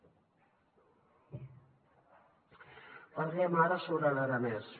parlem ara sobre l’aranès